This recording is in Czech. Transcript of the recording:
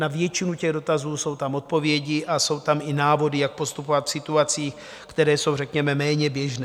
Na většinu těch dotazů jsou tam odpovědi a jsou tam i návody, jak postupovat v situacích, které jsou řekněme méně běžné.